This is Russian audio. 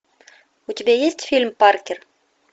у тебя есть фильм паркер